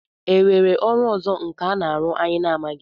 E nwere ọrụ ọzọ nkà na-arụ anyị na-amaghị?